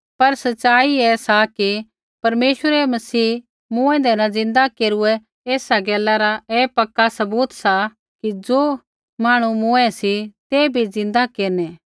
पर सच़ाई ऐ सा कि परमेश्वरै मसीह मूँऐंदै न ज़िन्दा केरूऐ ऐसा गैला रा ऐ पक्का सबूत सा कि ज़ो मांहणु मूँऐं सी ते भी ज़िन्दै केरनै